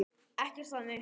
Ekkert þannig.